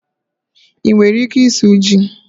Ị nwere ike ịsụ ji?